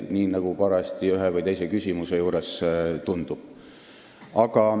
Just nii, nagu parajasti ühe või teise küsimuse juures parem tundub.